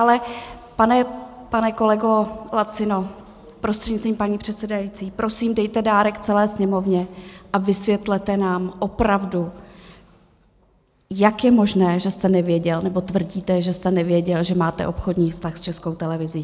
Ale pane kolego Lacino, prostřednictvím paní předsedající, prosím, dejte dárek celé Sněmovně a vysvětlete nám opravdu, jak je možné, že jste nevěděl, nebo tvrdíte, že jste nevěděl, že máte obchodní vztah s Českou televizí.